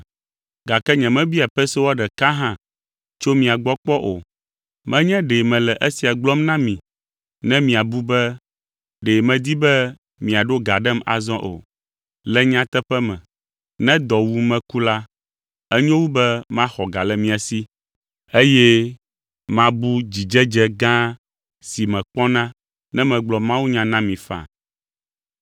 Gake nyemebia pesewa ɖeka hã tso mia gbɔ kpɔ o. Menye ɖe mele esia gblɔm na mi ne miabu be ɖe medi be miaɖo ga ɖem azɔ o. Le nyateƒe me, ne dɔ wum meku la, enyo wu be maxɔ ga le mia si, eye mabu dzidzedze gã si mekpɔna ne megblɔ mawunya na mi faa.